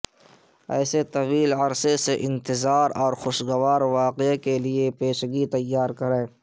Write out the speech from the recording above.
ایسے طویل عرصے سے انتظار اور خوشگوار واقعہ کے لئے پیشگی تیار کریں